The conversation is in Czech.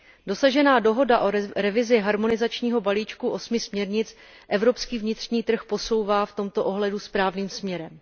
Dosažená dohoda o revizi harmonizačního balíčku osmi směrnic evropský vnitřní trh posouvá v tomto ohledu správným směrem.